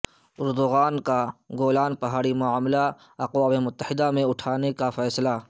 Erdogan کاگولان پہاڑی معاملہ اقوام متحدہ میں اٹھانے کا فیصلہ